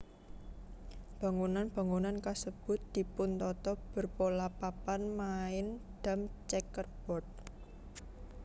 Bangunan bangunan kasèbut dipuntata berpola papan main dam checkerboard